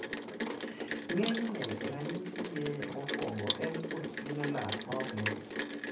ng'enyne ranyisi ge mokuongo en kuotpien lak ma ok lit